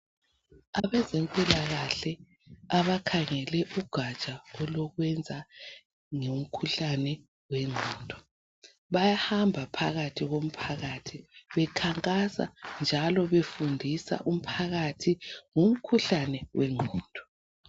Abezempilakahle abakhangele ugatsha olokwenza ngemikhuhlane yengqondo bayahamba phakathi komphakathi bekhankasa njalo befundisa umphakathi ngumkhuhlane wengqondo.